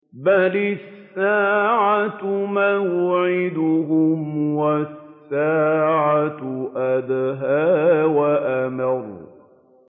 بَلِ السَّاعَةُ مَوْعِدُهُمْ وَالسَّاعَةُ أَدْهَىٰ وَأَمَرُّ